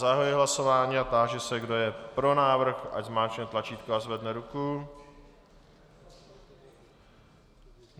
Zahajuji hlasování a táži se, kdo je pro návrh, ať zmáčkne tlačítko a zvedne ruku.